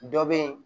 Dɔ bɛ yen